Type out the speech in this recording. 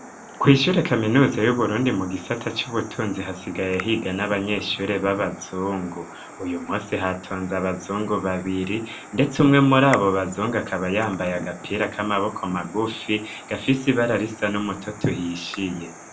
Kw'ishure kaminuzi y'uburundi mu gisata c'ubutunzi hasigaye ahiga n'abanyeshuri b'abazungu uyu muse hatonze abazungu babiri, ndetse umwe muri abo bazunga akabayambaye agapira k'amaboko magufi gafise ibararisa n'umutot uhishiye.